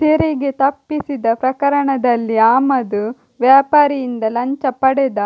ತೆರಿಗೆ ತಪ್ಪಿಸಿದ ಪ್ರಕರಣದಲ್ಲಿ ಆಮದು ವ್ಯಾಪಾರಿಯಿಂದ ಲಂಚ ಪಡೆದ